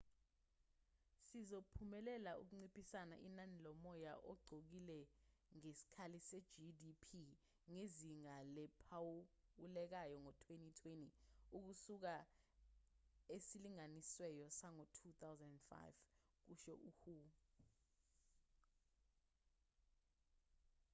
sizophumelela ukunciphisa inani lomoya ogcolile ngesikali se-gdp ngezinga eliphawulekayo ngo-2020 ukusuka esilinganisweni sango-2005 kusho u-hu